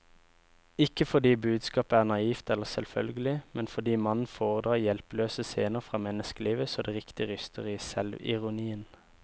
Ikke fordi budskapet er naivt eller selvfølgelig, men fordi mannen foredrar hjelpeløse scener fra menneskelivet så det riktig ryster i selvironien.